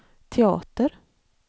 teater